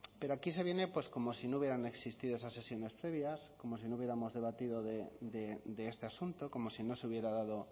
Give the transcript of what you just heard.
pero aquí se viene pues como si no hubieran existido esas sesiones previas como si no hubiéramos debatido de este asunto como si no se hubiera dado